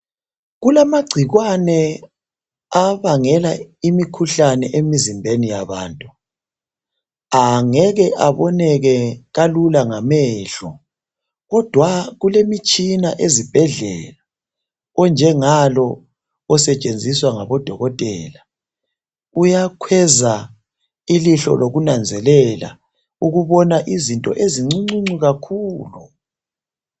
Kulamagcikwane abangela imikhuhlane emzimbeni yabantu angeke aboneke kalula ngamehlo kodwa kulemitshina ezibhedlela onjengalo osetshenziswa ngabodokotela. Uyakhweza ilihlo lokunanzelela ukubona izinto ezincuncu kakhulu.